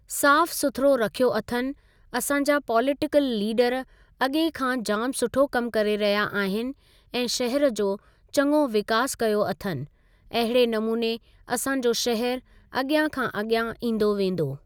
साफ़ सुथरो रखियो अथनि असांजा पोलिटिकल लीडर अॻे खां जामु सुठो कमु करे रहिया आहिनि ऐं शहर जो चङो विकास कयो अथनि अहिड़े नमूने असांजो शहर अॻियां खां अॻियां ईंदो वेंदो।